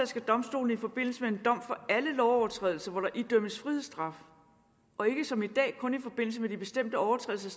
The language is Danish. skal domstolene i forbindelse med en dom for alle lovovertrædelser hvor der idømmes frihedsstraf og ikke som i dag kun i forbindelse med de bestemte overtrædelser